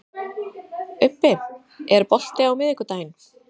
Ubbi, er bolti á miðvikudaginn?